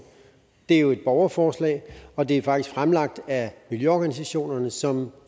det er jo et borgerforslag og det er faktisk fremlagt af miljøorganisationerne som